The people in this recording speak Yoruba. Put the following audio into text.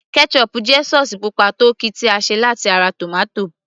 ketchup jẹ́ sauce pupa tó ki tí a ṣe láti ara tomato